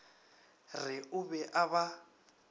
re o be a ba